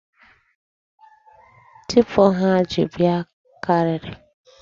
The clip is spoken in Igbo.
Teepu ha ji bịa karịrị.